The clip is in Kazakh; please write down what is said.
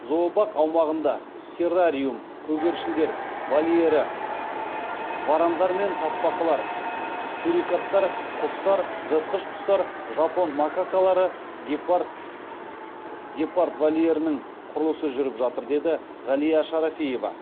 зообақ аумағында террариум көгершіндер вольері варандар мен тасбақалар сурикаттар құстар жыртқыш құстар жапон макакалары гепард вольерінің құрылысы жүріп жатыр деді ғалия шарафиева